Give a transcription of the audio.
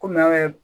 Kɔmi an ye